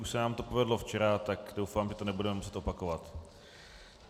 Už se nám to povedlo včera, tak doufám, že to nebudeme muset opakovat.